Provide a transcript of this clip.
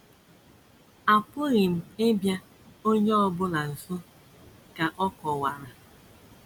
“ Apụghị m ịbịa onye ọ bụla nso, ” ka ọ kọwara.